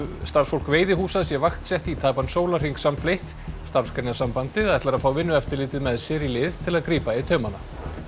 starfsfólk veiðihúsa sé vaktsett í tæpan sólarhring samfleytt Starfsgreinasambandið ætlar að fá Vinnueftirlitið með sér í lið til að grípa í taumana